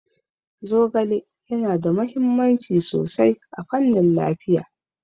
Zogale yana da mahimmanci sosai ta fannin lafiya.